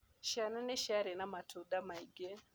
Ciana nĩ ciarĩ na matunda maingĩ.